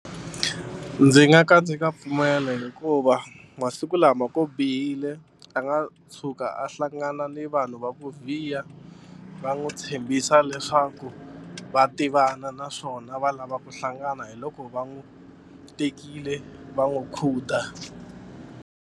Ndzi nga ka ndzi nga pfumeli hikuva masiku lama ku bihile a nga tshuka a hlangana ni vanhu va ku vhiya va n'wi tshembisa leswaku va tivana naswona va lava ku hlangana hi loko va n'wi tekile va n'wi khuda.